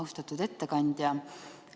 Austatud ettekandja!